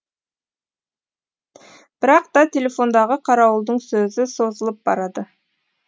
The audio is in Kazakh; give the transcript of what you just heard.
бірақ та телефондағы қарауылдың сөзі созылып барады